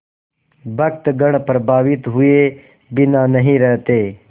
भक्तगण प्रभावित हुए बिना नहीं रहते